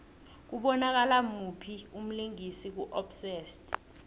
kubonakala muphi umlingisi ku obsessed